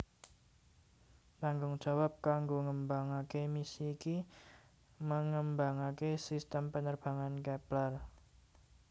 Tanggung jawab kanggo ngembangaké misi iki mengembangaké sistem penerbangan Kepler